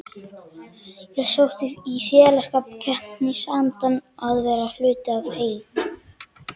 Ég sótti í félagsskapinn, keppnisandann, að vera hluti af heild.